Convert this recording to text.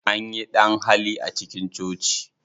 Anyi ɗan-hali a cikin coci.